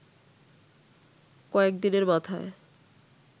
কয়েকদিনের মাথায়